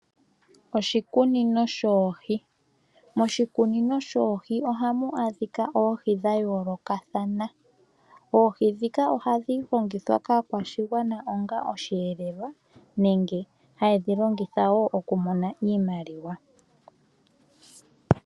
Oshikunino shoohi, moshikunino shoohi ohamu adhika oohi dha yoolokathana. Oohi ndhika ohadhi longithwa kaakwashigwana onga osheelelwa nenge haye dhi longitha woo okumona iimaliwa.